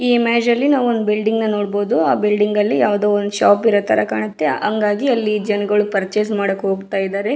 ಈ ಇಮೇಜ್ ಅಲ್ಲಿ ನಾವು ಒಂದು ಬಿಲ್ಡಿಂಗನ್ನ ನೋಡಬಹುದು ಆಹ್ಹ್ ಬಿಲ್ಡಿಂಗ್ ಅಲ್ಲಿ ಯಾವುದೊ ಒಂದ್ ಶಾಪ್ ಇರೋ ತಾರಾ ಕಾಣುತ್ತೆ ಹಾಂಗಾಗಿ ಅಲ್ಲಿ ಜನಗಳು ಪೂರ್ಚಸ್ ಮಾಡೋಕ್ ಹೋಗ್ತಿದ್ದಾರೆ.